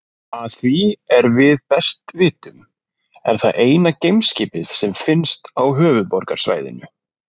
Að því er við best vitum er það eina geimskipið sem finnst á Höfuðborgarsvæðinu.